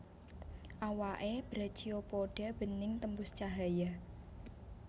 Awaké Brachiopoda bening tembus cahaya